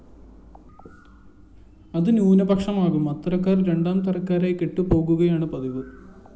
അതു ന്യൂനപക്ഷമാകും അത്തരക്കാര്‍ രണ്ടാം തരക്കാരായി കെട്ടുപോകുകയാണ് പതിവ്